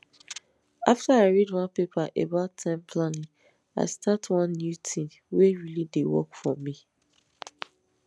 after i read one paper about time planning i start one new tin wey really dey work for me